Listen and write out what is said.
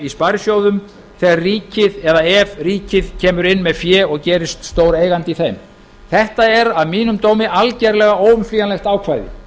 sparisjóðum þegar eða ef ríkið kemur inn með fé og gerist stóreigandi í þeim þetta er að mínum dómi algerlega óumflýjanlegt ákvæði